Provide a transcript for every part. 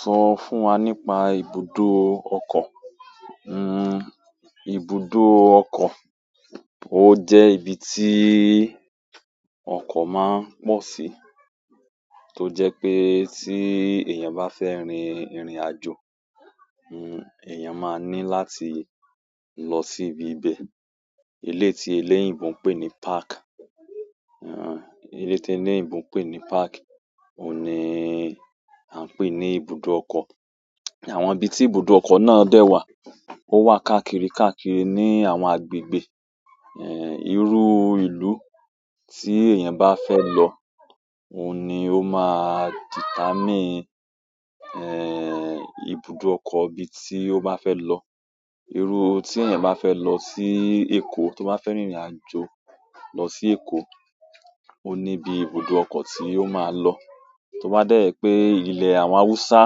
Sọ fún wa nípa ibùdó ọkọ̀. Hmm ibùdó ọkọ̀, ó jẹ́ ibi tí ì ọkọ̀ máa ń pọ̀ sí, tó jẹ́ pé tí èèyàn bá fẹ́ rìn ìrìnàjò, hmm èèyàn máa ní láti lọ sí ibi bẹ́ẹ̀. Eléyi ti eléyìnbo ń pè ní park, hmm eléyi ti eléyìnbo ń pè ní park òun ni a ń pè ní ibùdó ọkọ̀. Àwọn ibi tí ibùdó ọkọ̀ náà dé wà, ó wà káàkiri, káàkiri ní àwọn agbègbè, èéh irú ìlú tí èèyàn bá fẹ́ lọ òun ni ó máa determine èèh ibùdó ọkọ̀ ibi tí ó bá fẹ́ lọ. Irú tí èèyàn bá fẹ́ lọ sí Èkó, tó bá fẹ́ rìnrìnàjò lọ sí Èkó, òun ni ibi ibùdó ọkọ̀ tí yóò máa lọ. To ba de je pe, ile àwọn hausa,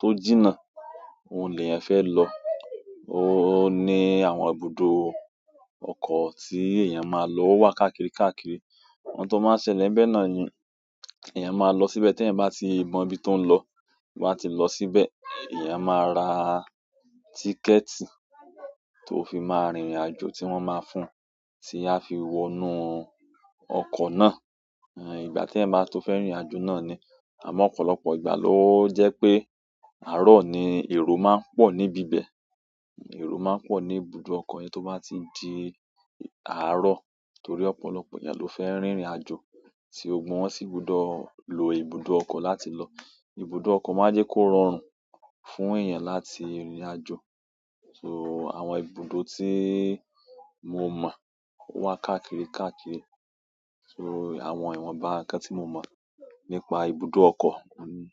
to jina, oun leyan fe lo, o ni àwọn ibùdó oko ti eeyan maa lo, o wa káàkiri káàkiri. Ohun tó máa ń ṣẹlẹ̀ nbẹ́ náà ni èèyàn máa lọ síbẹ̀ tí èèyàn bá ti mọ ibi tó ń lọ, tó ba ti lọ síbẹ̀. Èèyàn máa ra tíkẹ̀ẹ̀tì tó fi máa rìnrìnàjò tí wọ́n máa fún, tí a fi wọnú ọkọ̀ náà. Èèh ìgbà tí ẹeyan bá tó fẹ́ rìnrìnàjò náà ni. Àmọ́ ọ̀pọ̀lọpọ̀ ìgbà ló jẹ́ pé àárọ̀ ni èrò máa ń pọ̀ níbi bẹ́ẹ̀. Èrò máa ń pọ̀ ní ibùdó ọkọ̀ yẹn tó bá ti di àárọ̀ torí ọ̀pọ̀lọpọ̀ èèyàn ló fẹ́ rìnrìnàjò tí gbọ́gbo won sì gbodọ̀ lo ibùdó ọkọ̀ láti lọ. Ibùdó ọkọ̀ máa jẹ́ kó rọrùn fún èèyàn láti rìnrìnàjò. So àwọn ibùdó tí ì mo mọ̀ wà káàkiri, káàkiri. So àwọn ìwọnba nkan tí mo mọ̀ nípa ibùdó ọkọ̀ ni.